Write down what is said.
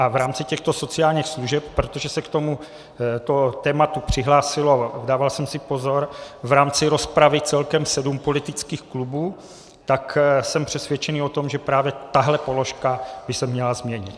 A v rámci těchto sociálních služeb, protože se k tomuto tématu přihlásilo - dával jsem si pozor - v rámci rozpravy celkem sedm politických klubů, tak jsem přesvědčený o tom, že právě tahle položka by se měla změnit.